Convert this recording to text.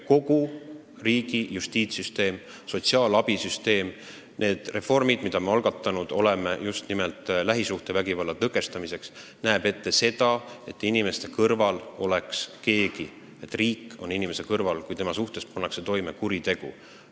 Kogu riigi justiitssüsteem, sotsiaalabisüsteem, need reformid, mis me oleme algatanud just nimelt lähisuhtevägivalla tõkestamiseks, on mõeldud selleks, et inimese kõrval oleks keegi, et riik oleks inimese kõrval, kui tema vastu pannakse toime kuri tegu.